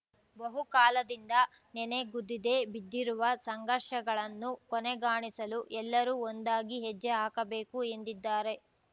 ಬಹುಕಾಲದಿಂದ ನೆನೆಗುದಿದೆ ಬಿದ್ದಿರುವ ಸಂಘರ್ಷಗಳನ್ನು ಕೊನೆಗಾಣಿಸಲು ಎಲ್ಲರೂ ಒಂದಾಗಿ ಹೆಜ್ಜೆ ಹಾಕಬೇಕು ಎಂದಿದ್ದಾರೆ